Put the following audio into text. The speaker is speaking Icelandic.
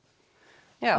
já